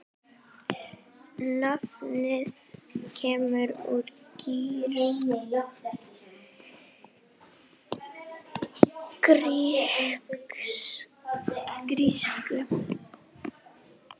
Nafnið kemur úr grísku